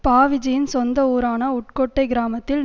பாவிஜய்யின் சொந்த ஊரான உட்கோட்டை கிராமத்தில்